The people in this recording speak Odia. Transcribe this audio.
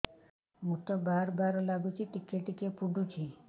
ମୁତ ବାର୍ ବାର୍ ଲାଗୁଚି ଟିକେ ଟିକେ ପୁଡୁଚି